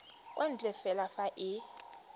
kwa ntle fela fa e